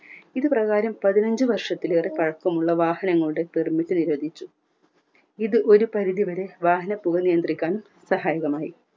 ഇതുപ്രകാരം പതിനഞ്ചു വർഷത്തിലേറെ പഴക്കമുള്ള വാഹനങ്ങളുടെ permit നിരോധിച്ചു ഇത് ഒരു പരിധി വരെ വാഹന പുക നിയന്ത്രിക്കാൻ സഹായകമായി